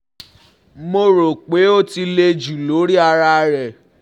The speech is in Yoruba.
Mo ro pe o um ti le ju lori ara rẹ